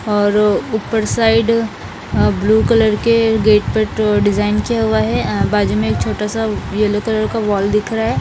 और ऊपर side blue colour के गेट पर डिजाईन किया हुआ हैं अ बाजु में एक छोटा सा येल्लो कलर का वाल दिख रहा हैं ।